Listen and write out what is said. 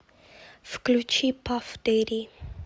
включи пафф дэдди